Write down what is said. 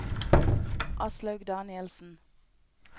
Aslaug Danielsen